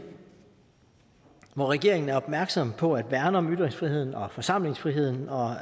hvor regeringen er opmærksom på at værne om ytringsfriheden og forsamlingsfriheden og